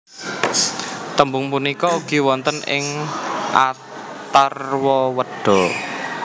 Tembung punika ugi wonten ing Atharwaweda